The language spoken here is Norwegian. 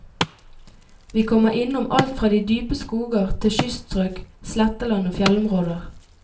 Vi kommer innom alt fra de dype skoger til kyststrøk, sletteland og fjellområder.